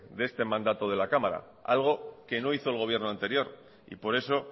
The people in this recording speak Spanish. de este mandato de la cámara algo que no hizo el gobierno anterior y por eso